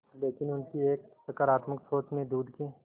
लेकिन उनकी एक सकरात्मक सोच ने दूध के